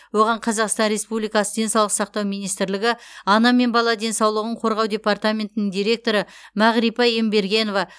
оған қазақстан республикасы денсаулық сақтау министрлігі ана мен бала денсаулығын қорғау департаментінің директоры мағрипа ембергенова